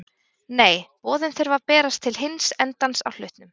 Nei, boðin þurfa að berast til hins endans á hlutnum.